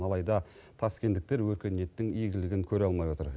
алайда таскендіктер өркениеттің игілігін көре алмай отыр